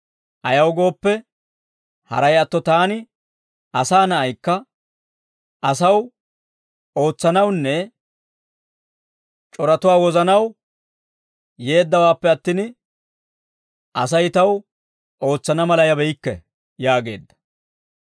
Ayaw gooppe, haray atto taani, Asaa Na'aykka, asaw ootsanawunne c'oratuwaa wozanaw yeeddawaappe attin, Asay taw ootsana mala yabeykke» yaageedda.